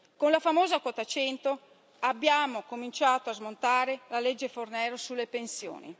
Con la famosa quota 100 abbiamo cominciato a smontare la legge Fornero sulle pensioni.